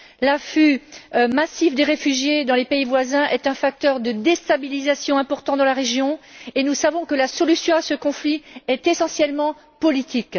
L'afflux massif des réfugiés dans les pays voisins est un facteur de déstabilisation important de la région et nous savons que la solution à ce conflit est essentiellement politique.